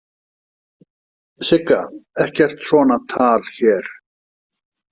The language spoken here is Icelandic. Sigga, ekkert svona tal hér